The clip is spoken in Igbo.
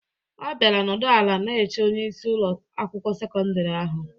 Ọ bịara nọdụ ala na-eche onyeisi Ụlọ akwụkwọ sekọndrị ahụ.